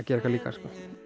gera eitthvað líka